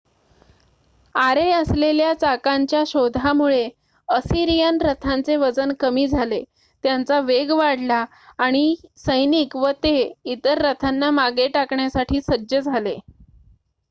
आरे असलेल्या चाकांच्या शोधामुळे असिरियन रथांचे वजन कमी झाले त्यांचा वेग वाढला आणि सैनिक व ते इतर रथांना मागे टाकण्यासाठी सज्ज झाले